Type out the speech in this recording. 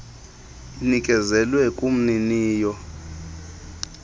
inikezelwe kumnini yo